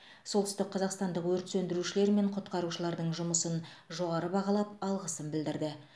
солтүстікқазақстандық өрт сөндірушілер мен құтқарушылардың жұмысын жоғары бағалап алғысын білдірді